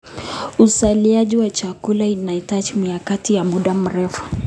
Uzalishaji wa chakula unahitaji mikakati ya muda mrefu.